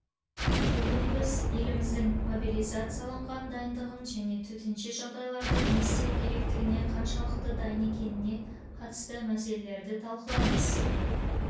бүгін біз еліміздің мобилизацияланған дайындығын және төтенше жағдайларда не істеу керектігіне қаншалықты дайынекеніне қатысты мәселелерді талқылаймыз